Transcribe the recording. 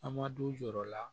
An ma du jɔ o la